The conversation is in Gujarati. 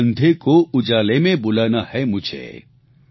હર અંધે કો ઉઝાલે મે બુલાના હે મુઝે